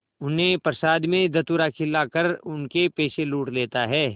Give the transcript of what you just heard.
उन्हें प्रसाद में धतूरा खिलाकर उनके पैसे लूट लेता है